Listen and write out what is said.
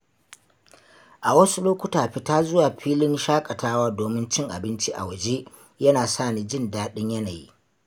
A wasu lokuta, fita zuwa filin shakatawa domin cin abinci a waje yana sa ni jin daɗin yanayi.